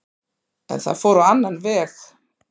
En það fór á annan veg.